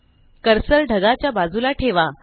cursor ढगा च्या बाजूला ठेवा